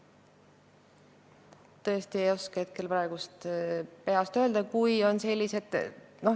Tõesti ei oska praegu peast öelda.